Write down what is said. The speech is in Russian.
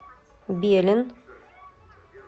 белен